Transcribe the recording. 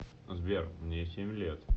сбер мне семь лет